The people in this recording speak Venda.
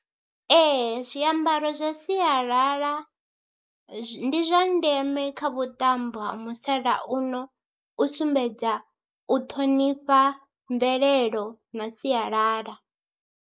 Ee zwiambaro zwa sialala ndi zwa ndeme kha vhuṱambo ha musalauno u sumbedza u ṱhonifha mvelelo na sialala.